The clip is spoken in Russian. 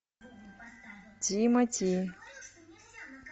тимати